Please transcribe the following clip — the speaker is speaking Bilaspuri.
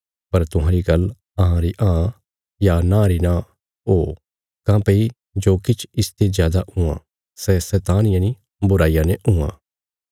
पर तुहांरी गल्ल हाँ री हाँ या नां री नां ओ काँह्भई जो किछ इसते जादा हुआं सै शैतान यनि बुराईया ने हुआं